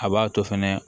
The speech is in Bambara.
A b'a to fɛnɛ